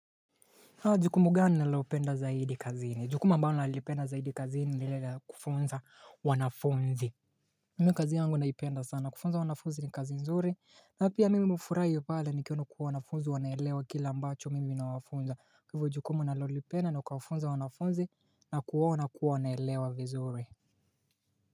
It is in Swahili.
Jukumu gani nalopenda zaidi kazini, jukumu ambalo nalipenda zaidi kazini ni lile la kufunza wanafunzi Mimi kazi yangu naipenda sana kufunza wanafunzi ni kazi nzuri na pia mimi hufuraia pale nikiona kuwa wanafunzi wanaelewa kile ambacho mimi nawafunza kwa ivyo jukumu nalolipenda ni kuwafunza wanafunzi na kuona kuwa wanaelewa vizuri.